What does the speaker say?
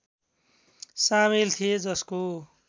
सामेल थिए जसको